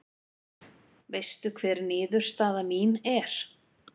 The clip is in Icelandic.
Veistu hver niðurstaða mín er?